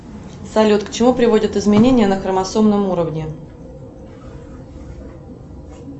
салют к чему приводят изменения на хромосомном уровне